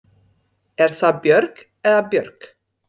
Er það Björg eða Björg?